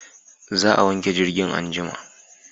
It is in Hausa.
Za a wanke jirgin anjima